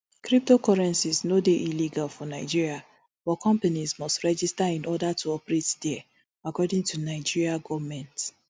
cryptocurrencies no dey illegal for nigeria but companies must register in order to operate dia according to nigeria goment